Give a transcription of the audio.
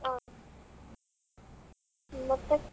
ಹಾ ಮತ್ತೆ?